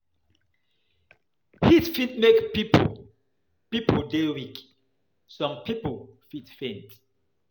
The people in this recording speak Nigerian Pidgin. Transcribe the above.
Heat fit make pipo pipo dey weak, some pipo fit faint